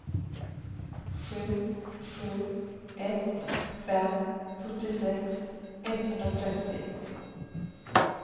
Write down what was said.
sju sju ett fem fyrtiosex etthundratrettio